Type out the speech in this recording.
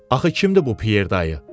Axı kimdir bu Pyer dayı?